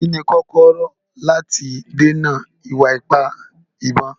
Kí ni kọ́kọ́rọ́ láti dènà ìwà ipá ìbọn?